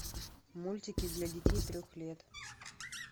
мультики для детей трех лет